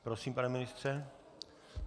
Prosím, pane ministře.